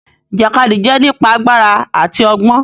Ìjàkadì jẹ nípa àgbàrá àti ọgbọn.